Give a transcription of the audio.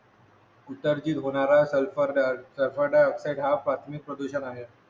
उत्सर्जित होणारा sulphur di sulphur dioxide हा प्राथमिक प्रदूषण आहे